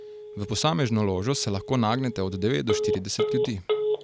V posamezno ložo se lahko nagnete od devet do štirideset ljudi.